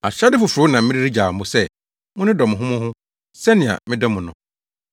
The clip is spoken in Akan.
“Ahyɛde foforo na mede regyaw mo sɛ, ‘Monnodɔ mo ho mo ho sɛnea medɔ mo no.